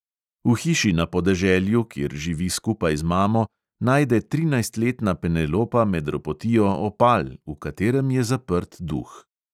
V hiši na podeželju, kjer živi skupaj z mamo, najde trinajstletna penelopa med ropotijo opal, v katerem je zaprt duh.